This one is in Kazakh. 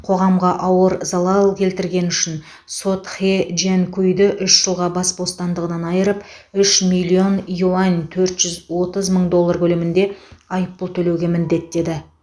қоғамға ауыр залал келтіргені үшін сот хэ джянкуйді үш жылға бас бостандығынан айырып үш миллион юань төрт жүз отыз мың доллар көлемінде айыппұл төлеуге міндеттеді